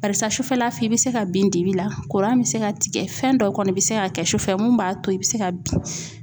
Barisa sufɛla fɛ, i be se ka bin dibi la kuran be se ka tigɛ fɛn dɔw kɔni be se ka kɛ sufɛ mun b'a to i be se ka bin.